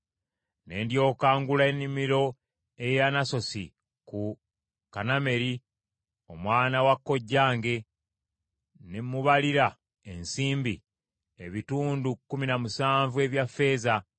Ne ndyoka ngula ennimiro ey’e Anasosi ku Kanameri omwana wa kojjange, ne mubalira ensimbi, ebitundu kkumi na musanvu ebya ffeeza.